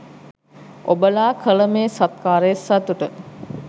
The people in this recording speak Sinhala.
ඔබලා කල මේ සත්කාරයේ සතුට